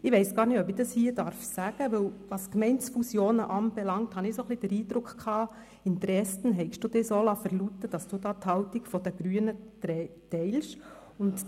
Ich weiss gar nicht, ob ich das hier sagen darf, denn was Gemeindefusionen anbelangt, hatte ich ein bisschen den Eindruck, Sie hätten sich in Dresden so verlauten lassen, dass Sie hier die Haltung der Grünen teilen.